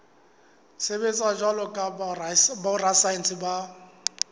sebetsa jwalo ka borasaense ba